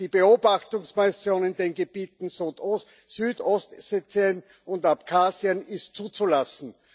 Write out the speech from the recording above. Die Beobachtungsmission in den Gebieten Südossetien und Abchasien ist zuzulassen.